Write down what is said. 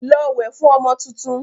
Lọ wẹ̀ fún ọmọ tuntun!